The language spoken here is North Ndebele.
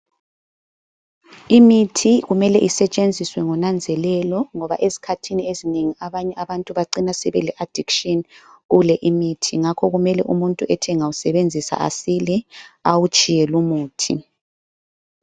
Imithi kumele isetshenziswe ngonanzelelo ngoba ezikhathini ezinengi abanye abantu bacina sebele addiction kule imithi. Ngakho kumele umuntu ethi engawusebenzisa asile awutshiye lumuthi.